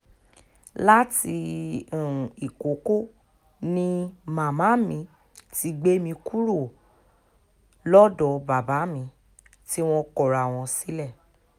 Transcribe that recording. láti um ìkọ̀kọ̀ ni màmá mi ti gbé mi kúrò um lọ́dọ̀ bàbá mi tí wọ́n kọra wọn sílẹ̀